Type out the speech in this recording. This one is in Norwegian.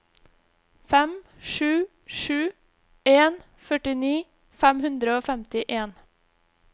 fem sju sju en førtini fem hundre og femtien